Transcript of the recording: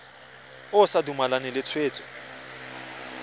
o sa dumalane le tshwetso